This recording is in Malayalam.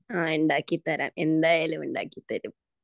ആഹ് ഉണ്ടാക്കിത്തരാം എന്തായാലും ഉണ്ടാക്കിതരും